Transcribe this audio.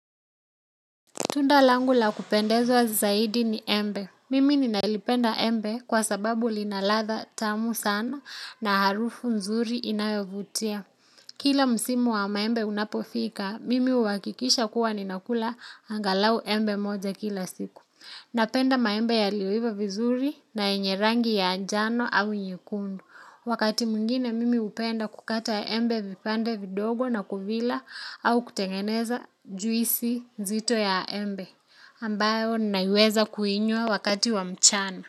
Tunda langu la kupendeza zaidi ni embe. Mimi ninalipenda embe kwa sababu lina ladha tamu sana na harufu nzuri inayovutia. Kila msimu wa maembe unapofika, mimi huhakikisha kuwa ninakula angalau embe moja kila siku. Napenda maembe yalioiva vizuri na yenye rangi ya njano au nyekundu. Wakati mwingine mimi hupenda kukata ya embe vipande vidogo na kuvila au kutengeneza juisi nzito ya embe ambayo naweza kuinywa wakati wa mchana.